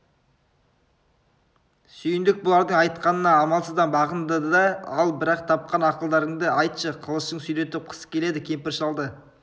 сүйіндік бұлардың айтқанына амалсыздан бағынды да ал бірақ тапқан ақылдарыңды айтшы қылышын сүйретіп қыс келеді кемпір-шалды